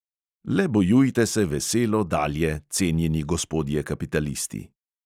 Le bojujte se veselo dalje, cenjeni gospodje kapitalisti!